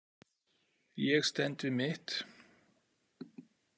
Ég stend við mitt.